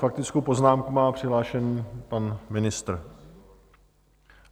Faktickou poznámku má přihlášenu pan ministr.